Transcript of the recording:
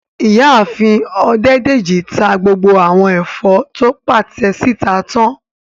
Ìyáàfin Ọdẹ́dèjì ta gbogbo àwọn ẹ̀fọ́ tó pàtẹ síta tán